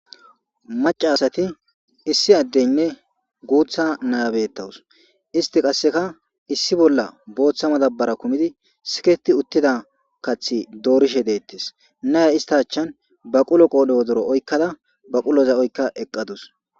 Macca asati issi adeynne guuththa naya betawus. Istti qasseka issi bolla booththa madabara kumidi siketti uttida kaththi doorishe deetes. Naya issta achchan baqulo qoodhe wodori oyqqa eqqadus.